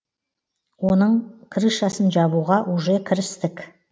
оның крышасын жабуға уже кірістік